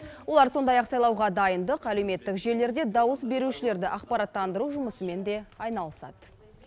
олар сондай ақ сайлауға дайындық әлеуметтік желілерде дауыс берушілерді ақпараттандыру жұмысымен де айналысады